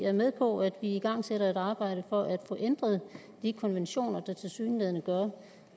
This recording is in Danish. er med på at vi igangsætter et arbejde for at få ændret de konventioner der tilsyneladende gør